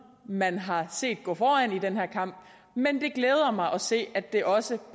man har set gå foran i den her kamp men det glæder mig at se at det også